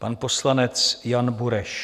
Pan poslanec Jan Bureš.